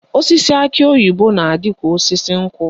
Osisi akị oyibo na-adị ka osisi nkwụ